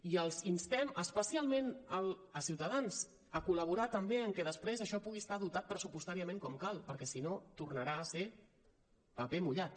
i els instem especialment a ciutadans a col·laborar també en que després això pugui estar dotat pressupostàriament com cal perquè si no tornarà a ser paper mullat